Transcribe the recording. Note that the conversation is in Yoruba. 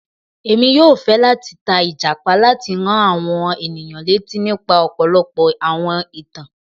Èmi yóò fẹ lati ta Ìjàpá láti rán àwọn ènìyàn létí nípa ọpọlọpọ àwọn ìtàn.